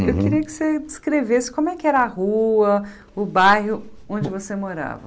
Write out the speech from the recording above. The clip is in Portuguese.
Uhum Eu queria que você descrevesse como é que era a rua, o bairro onde você morava.